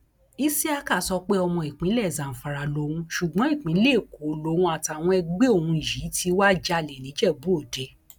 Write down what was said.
isiaka sọ pé ọmọ ìpínlẹ̀ zamfara lòun ṣùgbọ́n ìpínlẹ èkó lòun àtàwọn ẹgbẹ́ òun yìí ti wáá jalè níjẹ̀búòde